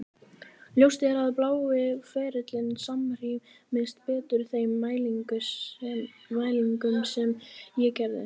Ljóst er að blái ferillinn samrýmist betur þeim mælingum sem ég gerði.